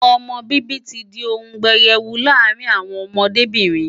Ọmọ bíbí ti di ohun pẹyẹwu láàárín àwọn ọmọdébìnrin.